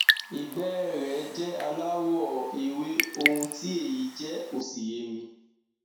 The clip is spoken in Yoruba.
ìgbẹ ẹ rẹ jẹ aláwọ ewé ohun tí èyí jẹ ò sì yé mi